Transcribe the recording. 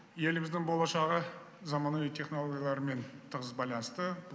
еліміздің болашағы заманауи технологиялармен тығыз байланысты